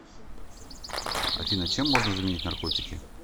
афина чем можно заменить наркотики